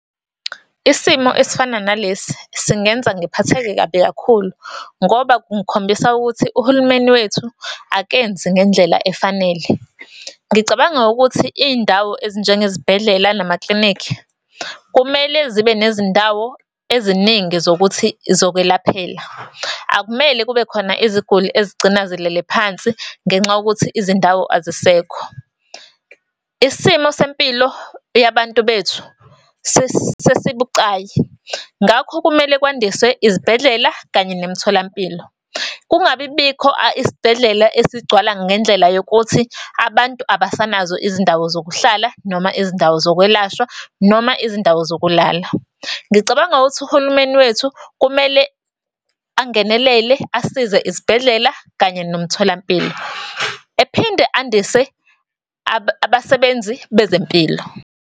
Isimo esifana nalesi singenza ngiphatheke kabi kakhulu, ngoba kungikhombisa ukuthi uhulumeni wethu, akenzi ngendlela efanele. Ngicabanga ukuthi iy'ndawo ezinjengezibhedlela, namaklinikhi, kumele zibe nezindawo eziningi zokuthi zokwelaphela. Akumele kube khona iziguli ezigcina zilele phansi ngenxa yokuthi izindawo azisekho. Isimo sempilo yabantu bethu sesibucayi, ngakho kumele kwandiswe izibhedlela, kanye nemitholampilo. Kungabibikho isibhedlela esigcwala ngendlela yokuthi abantu abasanazo izindawo zokuhlala, noma izindawo zokwelashwa, noma izindawo zokulala. Ngicabanga ukuthi uhulumeni wethu kumele angenelele asize izibhedlela, kanye nomtholampilo, ephinde andise abasebenzi bezempilo.